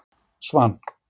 Svan